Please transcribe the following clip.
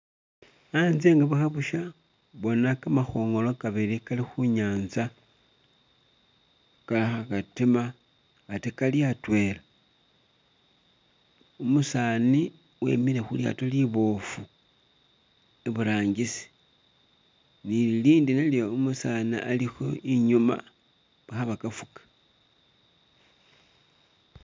Anze nga bukha busha, bona kamakhongolo kabili kali khunyanza kakha katima ate kali atwela, umusani wemile khulyato liboofu iburangisi ni lilindi nalyo umusani ali kho inyuma kha bakafuka.